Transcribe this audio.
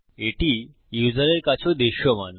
এটি ইউসারের কাছেও দৃশ্যমান